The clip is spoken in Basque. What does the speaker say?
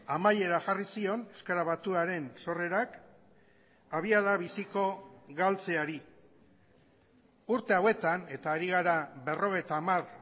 amaiera jarri zion euskara batuaren sorrerak abiada biziko galtzeari urte hauetan eta ari gara berrogeita hamar